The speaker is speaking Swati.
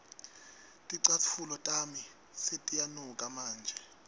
ticatfulo tami setiyanuka manje